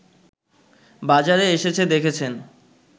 বাজারে এসেছে দেখেছেন